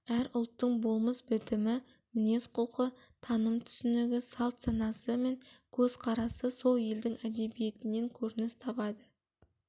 әр ұлттың болмыс бітімі мінез-құлқы таным-түсінігі салт-санасы мен көзқарасы сол елдің әдебиетінен көрініс табады